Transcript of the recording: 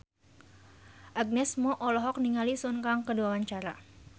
Agnes Mo olohok ningali Sun Kang keur diwawancara